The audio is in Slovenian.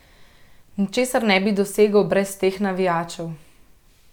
Ničesar ne bi dosegel brez teh navijačev.